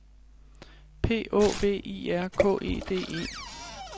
P Å V I R K E D E